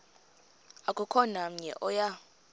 akukho namnye oya